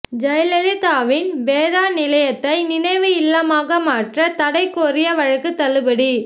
ஜெயலலிதாவின் வேதா நிலையத்தை நினைவு இல்லமாக மாற்ற தடை கோரிய வழக்கு தள்ளுபடி